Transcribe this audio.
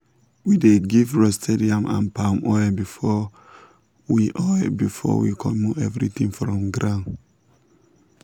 we dey give roasted yam and palm oil before we oil before we comot everything from ground.